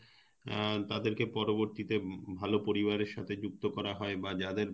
অ্যাঁ তাদের কে পরবর্তিতে ভাল পরিবারের সাথে যুক্ত করা হয় বা যাদের